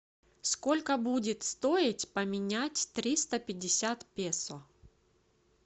сколько будет стоить поменять триста пятьдесят песо